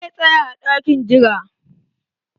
Zai tsaya a dakin jira.